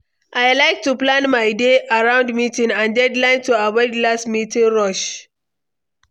I like to plan my day around meetings and deadlines to avoid last-minute rush.